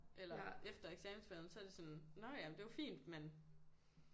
Eller efter eksamensperioden så er det sådan nåh ja det er jo fint men